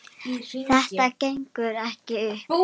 Þetta gengur ekki upp.